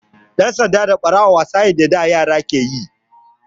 Ɗan sanda da Ɓarawo wasa ne da da yara suke yi.